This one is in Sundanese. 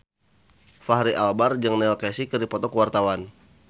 Fachri Albar jeung Neil Casey keur dipoto ku wartawan